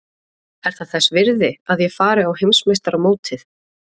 Er það þess virði að ég fari á Heimsmeistaramótið?